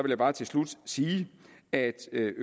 jeg bare til slut sige at